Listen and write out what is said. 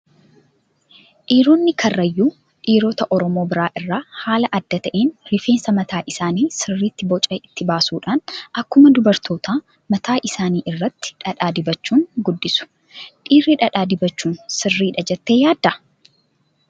Dhiironni karrayyuu dhiirota oromoo biraa irraa haala adda ta'een rifeensa mataa isaanii sirriitti Boca itti baasuudhaan akkuma dubarootaa mataa isaanii irratti dhadhaa dibachuun guddisu. Dhiirii dhadhaa dibachuun sirriidha jettee yaaddaa?